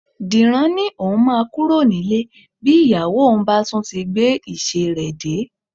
Dìran ni òun máa kúrò nílé bí ìyàwó òun bá tún ti gbé ìṣe rẹ dé